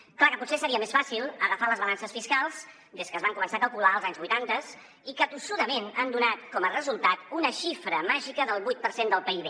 és clar que potser seria més fàcil agafar les balances fiscals des que es van començar a calcular als anys vuitanta i que tossudament han donat com a resultat una xifra màgica del vuit per cent del pib